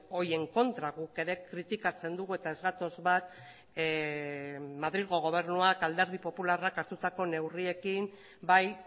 horien kontra guk ere kritikatzen dugu eta ez gatoz bat madrilgo gobernuak alderdi popularrak hartutako neurriekin bai